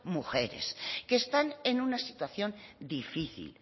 mujeres que están en una situación difícil